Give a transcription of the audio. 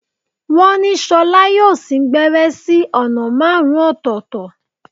Wọ́n ní ṣọlá yóò sín gbẹ́rẹ́ sí ọ̀nà márùn-ún ọ̀tọ̀ọ̀tọ̀